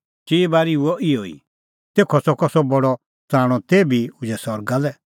चिई बारी हुअ इहअ ई तेखअ च़कअ सह बडअ तराणअ तेभी उझै सरगा लै